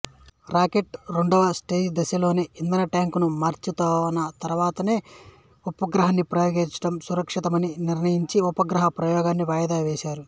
rocket రెండవ స్టేజిదశలోని ఇంధన టాంకును మార్చినతరువాతనే ఉపగ్రహాన్ని ప్రయోగించడం సురక్షితమని నిర్ణయించి ఉపగ్రహ ప్రయోగాన్ని వాయిదా వేసారు